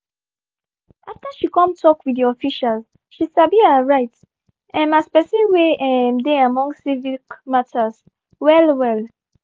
after she um kon tok with di officials she sabi her rights um as pesin wey um dey among civic matters well well.